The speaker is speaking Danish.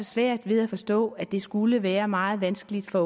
svært ved at forstå at det skulle være meget vanskeligt for